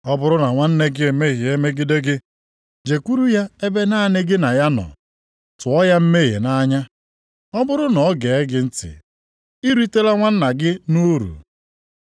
“Ọ bụrụ na nwanna gị emehie megide gị, jekwuru ya ebe naanị gị na ya nọ, tụọ ya mmehie nʼanya. Ọ bụrụ na o gee gị ntị, i ritela nwanna gị nʼuru.